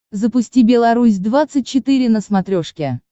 запусти белорусь двадцать четыре на смотрешке